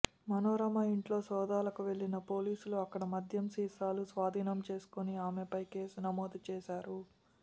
మనోరమ ఇంట్లో సోదాలకు వెళ్లిన పోలీసులు అక్కడ మద్యం సీసాలు స్వాధీనం చేసుకుని ఆమెపై కేసు నమోదు చేశారు